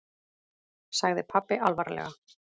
sagði pabbi alvarlega.